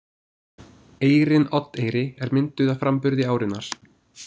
Eyrin Oddeyri er mynduð af framburði árinnar.